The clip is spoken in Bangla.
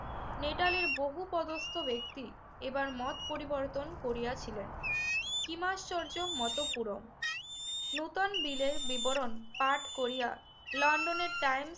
নেটালের বহু পদস্থ ব্যক্তি এবার মত পরিবর্তন করিয়াছিলেন। Sanskrit Vaidic কিমাশ্চর্য মত পুরম নতুন বিলের বিবরণ পাঠ করিয়া লন্ডনের টাইম